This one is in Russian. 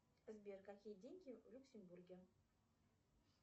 сбер какие деньги в люксембурге